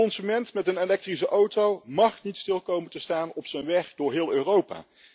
De consument met een elektrische auto mag niet stil komen te staan op zijn weg door heel Europa.